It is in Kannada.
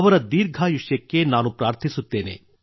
ಅವರ ದೀರ್ಘಾಯುಷ್ಯಕ್ಕೆ ನಾನು ಪ್ರಾರ್ಥಿಸುತ್ತೇನೆ